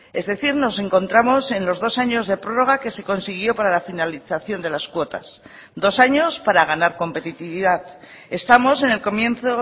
es decir nos encontramos en los dos años de prórroga que se consiguió para la finalización de las cuotas dos años para ganar competitividad estamos en el comienzo